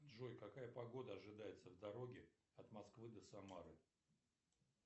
джой какая погода ожидается в дороге от москвы до самары